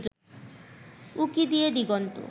উঁকি দিয়ে দিগন্ত